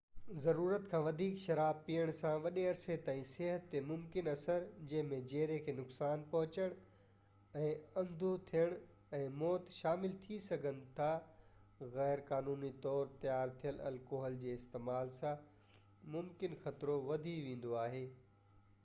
ضرورت کان وڌيڪ شراب پيئڻ سان وڏي عرصي تائين صحت تي ممڪن اثر جنهن ۾ جيري کي نقصان پهچڻ ۽ اندو ٿيڻ ۽ موت پڻ شامل ٿي سگهن ٿا غير قانوني طور تي تيار ٿيل الڪوحل جي استعمال سان ممڪن خطرو وڌي ويندو آهي